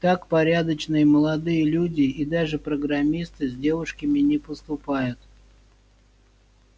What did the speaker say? так порядочные молодые люди и даже программисты с девушками не поступают